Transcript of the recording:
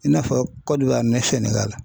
I n'a fɔ ni SENEGALI.